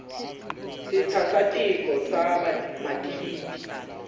setsha sa teko sa matibidi